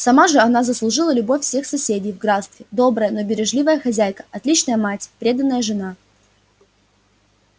сама же она заслужила любовь всех соседей в графстве добрая но бережливая хозяйка отличная мать преданная жена